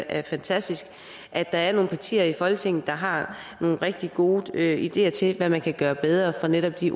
er fantastisk at der er nogle partier i folketinget der har nogle rigtig gode ideer til hvad der kan gøres bedre på netop de